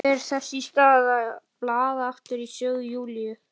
Fer þess í stað að blaða aftur í sögu Júlíu.